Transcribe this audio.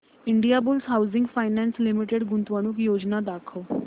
Indiabulls housing finance limited गुंतवणूक योजना दाखव